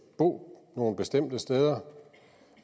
bo nogle bestemte steder